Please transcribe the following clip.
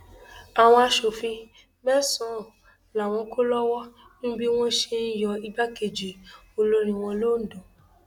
àwọn aṣòfin mẹsànán làwọn kò lọwọ nínú bí wọn ṣe yọ igbákejì olórí wọn londo